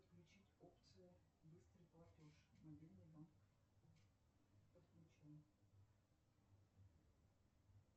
включить опцию быстрый платеж мобильный банк подключено